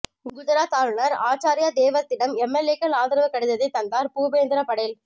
குஜராத் ஆளுநர் ஆச்சார்யா தேவ்வர்த்திடம் எம்எல்ஏக்கள் ஆதரவு கடிதத்தை தந்தார் பூபேந்திர படேல்